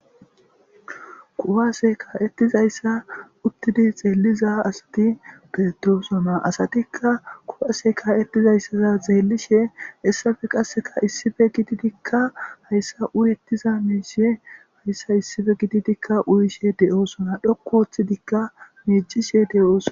kuwase ka7ettizayssa uttidi xeelliza asati beetosona asatikka kuwase ka ettizayssaza xeellishe issafe qasseka issife gididikka hayssa urettiza miisie hayssa issife gitidikka uyishe de7oosona dhokku woththidikka miicishe de7ooso